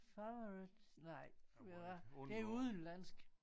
Favourites like ah det er udenlandsk